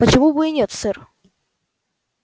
почему бы и нет сэр